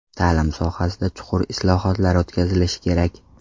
Ta’lim sohasida chuqur islohotlar o‘tkazilishi kerak.